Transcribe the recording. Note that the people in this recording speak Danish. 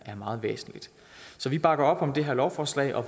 er meget væsentligt så vi bakker op om det her lovforslag og